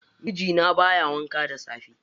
Mijina baya wanka da safe.